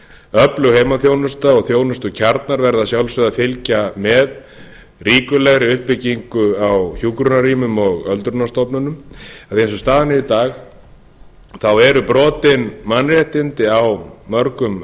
öflug heimaþjónusta og þjónustukjarnar verða að sjálfsögðu að fylgja með ríkulegri uppbyggingu á hjúkrunarrýmum og öldrunarstofnunum en eins og staðan er í dag eru brotin mannréttindi á mörgum